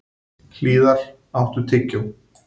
Hlíðar, áttu tyggjó?